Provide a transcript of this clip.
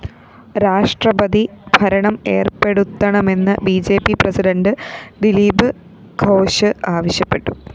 രാഷ്ട്രപതി ഭരണം ഏര്‍പ്പെടുത്തണമെന്ന് B J P president Dilip Ghosh ആവശ്യപ്പെട്ടു